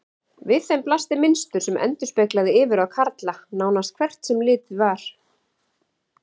Við þeim blasti mynstur sem endurspeglaði yfirráð karla, nánast hvert sem litið var.